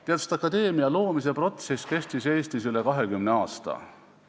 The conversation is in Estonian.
Teaduste akadeemia loomise protsess kestis Eestis üle 20 aasta.